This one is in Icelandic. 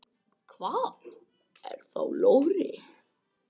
Hvað er þá logri?